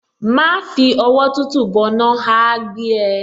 Má fi ọwọ́ tútù bọná, á á gbé ẹ.